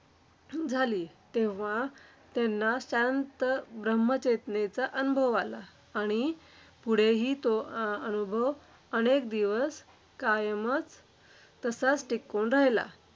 झाली. तेव्हा त्यांना शांत ब्रह्म-चेतनेचा अनुभव आला. आणि पुढेही तो अं अनुभव अनेक दिवस कायमचं तसाच टिकून राहिला.